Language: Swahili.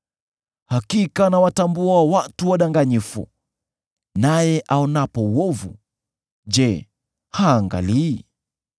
Hakika anawatambua watu wadanganyifu; naye aonapo uovu, je, haangalii?